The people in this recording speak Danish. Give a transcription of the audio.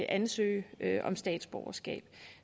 ansøgere om statsborgerskab